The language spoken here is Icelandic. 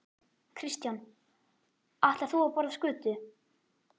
Kristján: Ætlar þú að borða skötu?